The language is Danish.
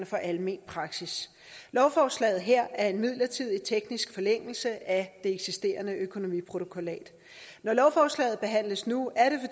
for almen praksis lovforslaget her er en midlertidig teknisk forlængelse af det eksisterende økonomiprotokollat når lovforslaget behandles nu er det